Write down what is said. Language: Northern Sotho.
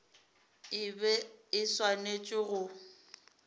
e be e swanetše go